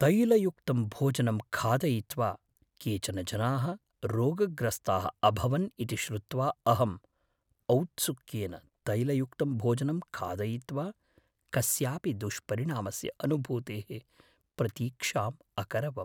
तैलयुक्तं भोजनं खादयित्वा केचन जनाः रोगग्रस्ताः अभवन् इति श्रुत्वा अहम् औत्सुक्येन तैलयुक्तं भोजनं खादयित्वा कस्यापि दुष्परिणामस्य अनुभूतेः प्रतीक्षाम् अकरवम्।